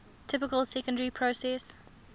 typical secondary processes